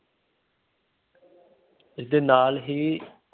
ਇਸਦੇ ਨਾਲ ਹੀ